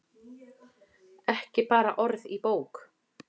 Ekki bara orð í bók.